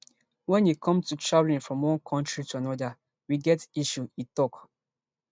wen e come to traveling from one kontri to anoda we get issue e tok